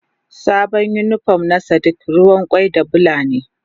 Sabon unipon na sadiq ruwan kwai da Bula ne.